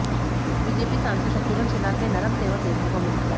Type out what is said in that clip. BJP सासंद शत्रुघ्न सिन्हा के नरम तेवर देखने को मिले